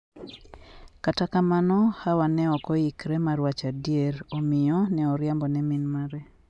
Kata kamano, Hawa ne ok oikore mar wacho adier, omiyo ne oriambo ne min mare.